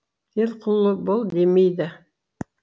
делқұлы бол демейді